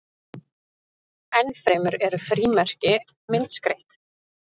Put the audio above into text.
enn fremur eru frímerki myndskreytt